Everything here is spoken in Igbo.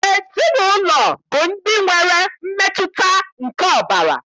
Ezinaụlọ bụ ndị nwere mmetụta nke ọbara